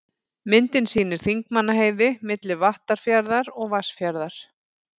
Myndin sýnir Þingmannaheiði, milli Vattarfjarðar og Vatnsfjarðar.